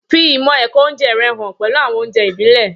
Fi ìmọ̀ ẹ̀kọ́ oúnjẹ rẹ hàn pẹ̀lú àwọn oúnjẹ ìbílẹ̀.